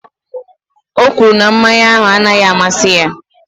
O kwuru na mmanya ahụ anaghị amasị ya.